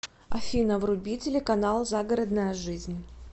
афина вруби телеканал загородная жизнь